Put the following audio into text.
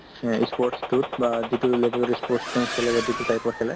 সেই ই sports তোক বা যিটো level ত ই sports খেলে বা যিটো type ৰ খেলে